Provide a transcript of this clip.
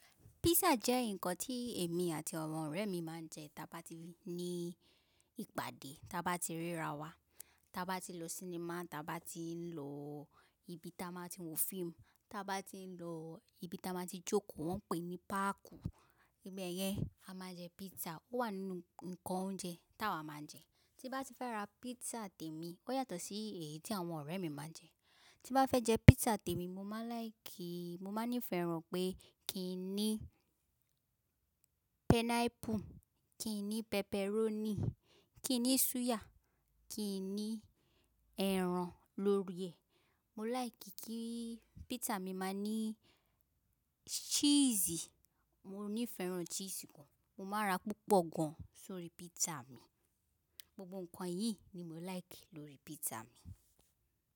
Pizza jẹ́ ǹkan tí èmi àti àwọn ọ̀rẹ́ mi máa ń jẹ tàba ti ní ìpàdé, tàba ti ríra wa, tàba ti lọ sinimá, tàba ti ń lọ ibi ta man ti wo fíìmù, tàba ti ń lọ ibi tí a máa ti jókòó wọn pé ní páàkù. Ibe yẹn a máa jẹ pizza. Ó wà nínú ǹkan oúnjẹ tá wa máa ń jẹ. Tí bá ti fẹ́ ra pizza tèmi, ó yàtọ̀ sí èyí tí àwọn ọ̀rẹ́ mi máa ń jẹ. Tí mo bá fẹ́ jẹ pizza tèmi, mo máa láì kì í, mo máa ń nífẹ̀ẹ́ ràn pé kí i ní pineapple, kí i ní pepperoni, kí i ní suya, kí i ní ẹran lórí ẹ̀. Mo láì kí kí pizza mi máa ní cheese. Mo nífẹ̀ẹ́ ràn cheese gan. Mo máa ra púpọ̀ gan sórí pizza mi. Gbogbo ǹkan yìí ni mo láìkí lórí pizza mi.